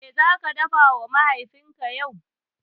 Me zaka dafawa Mahaifinka yau?